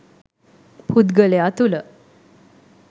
පුද්ගලයා තුළ